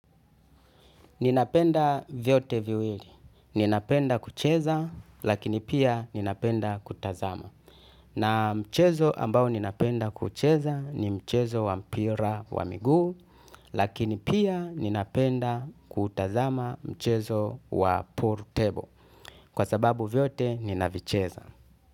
Ninapenda vyote viwili. Ninapenda kucheza lakini pia ninapenda kutazama. Na mchezo ambao ninapenda kucheza ni mchezo wa mpira wa miguu lakini pia ninapenda kutazama mchezo wa pool table kwa sababu vyote ninavicheza.